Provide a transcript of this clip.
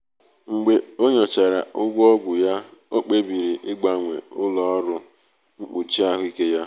mgbe o nyochachara ụgwọ ọgwụ ya ọ kpebiri ịgbanwe ụlọ ọrụ mkpuchi ahụike ya.